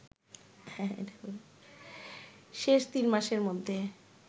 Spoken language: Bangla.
শেষ তিন মাসের মধ্যে